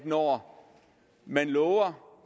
når man